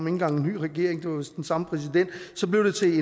engang en ny regering det var vist den samme præsident og så blev det til